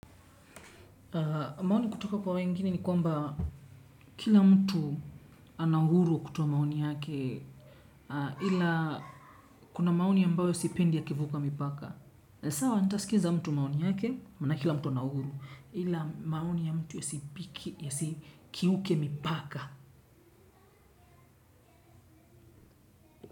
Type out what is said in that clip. Maoni kutoka kwa wengine ni kwamba kila mtu ana uhuru wa kutoa maoni yake ila kuna maoni ambayo sipendi yakivuka mipaka. Sawa nitaskiza mtu maoni yake maana kila mtu ana uhuru ila maoni ya mtu yasi kiuke mipaka.